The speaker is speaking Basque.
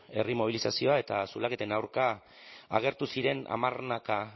herri mobilizazioa eta zulaketen aurka agertu ziren hamarnaka